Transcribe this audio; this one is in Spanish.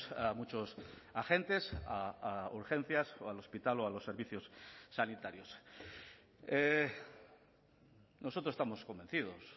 a muchos agentes a urgencias o al hospital o a los servicios sanitarios nosotros estamos convencidos